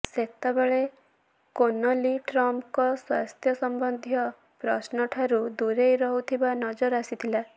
ସେତେବେଳେ କୋନଲୀ ଟ୍ରମ୍ପଙ୍କ ସ୍ୱାସ୍ଥ୍ୟ ସମ୍ବନ୍ଧୀୟ ପ୍ରଶ୍ନ ଠାରୁ ଦୁରେଇ ରହୁଥିବା ନଜର ଆସିଥିଲେ